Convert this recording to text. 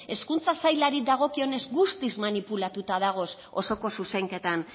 hezkuntza sailari dagokionez guztiz manipulatuta dagoz osoko zuzenketan